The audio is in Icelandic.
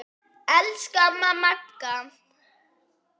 Elsku amma Magga.